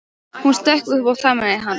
Hún stökk upp og faðmaði hann.